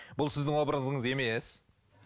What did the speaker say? бұл сіздің образыңыз емес